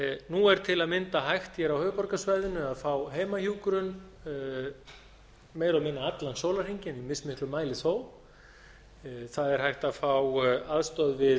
nú er til að mynda hægt hér á höfuðborgarsvæðinu að fá heimahjúkrun meira og minna allan sólarhringinn í mismiklum mæli þó það er hægt að fá aðstoð við